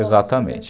Exatamente.